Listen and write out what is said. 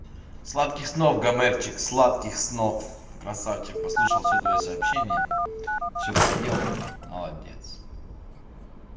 сладких снов гомерчик сладких снов красавчик послушал все твои сообщения все по делу молодец